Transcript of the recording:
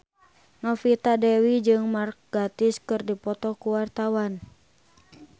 Novita Dewi jeung Mark Gatiss keur dipoto ku wartawan